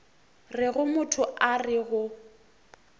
rego motho a re go